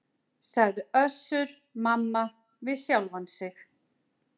sagði Össur-Mamma við sjálfan sig.